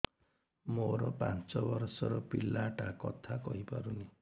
ମୋର ପାଞ୍ଚ ଵର୍ଷ ର ପିଲା ଟା କଥା କହି ପାରୁନି